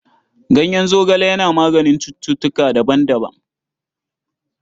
Ganyen zogale yana maganin cututtuka daban-daban..